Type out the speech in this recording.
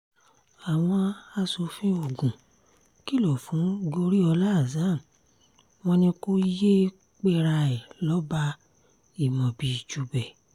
àwọn aṣòfin ogun kìlọ̀ fún goriola hasan wọn ni kò yéé pera ẹ̀ lọ́ba imobi-ijubẹ